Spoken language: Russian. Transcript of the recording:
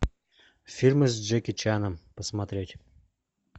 фильмы с джеки чаном посмотреть